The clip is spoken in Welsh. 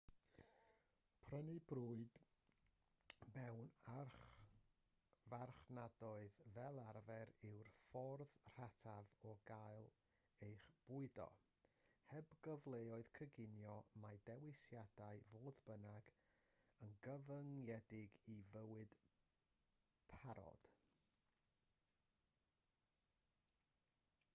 prynu bwyd mewn archfarchnadoedd fel arfer yw'r ffordd rataf o gael eich bwydo heb gyfleoedd coginio mae dewisiadau fodd bynnag yn gyfyngedig i fwyd parod